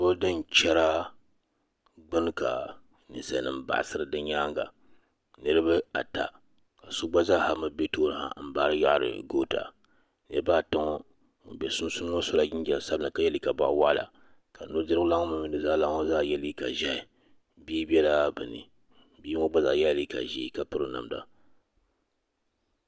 bildin chara gbini ka ninsali nima baɣsiri di nyaaŋa niriba ata ka so gbazaahami bɛ tooni ha nbaari yaɣri goota niriba ata ŋɔ ŋun be sunsuuni ŋɔ sɔ la jimjam sabinli ka yɛ liiga buɣ wɔɣla ka nudirigu lani ŋɔ mini nuzaa lana ŋɔ yɛ liiga ʒɛhi bia bɛ la be ni bia ŋɔ gbazaa yɛ la liiga ʒɛɛ ka piri namda